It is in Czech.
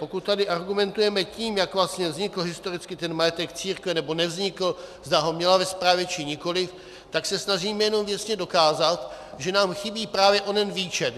Pokud tady argumentujeme tím, jak vlastně vznikl historicky ten majetek církve, nebo nevznikl, zda ho měla ve správě, či nikoliv, tak se snažíme jenom věcně dokázat, že nám chybí právě onen výčet.